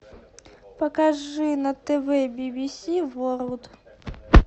покажи на тв би би си ворлд